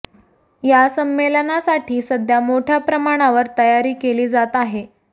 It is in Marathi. या संमेलनासाठी सध्या मोठ्या प्रमाणावर तयारी केली जात आहे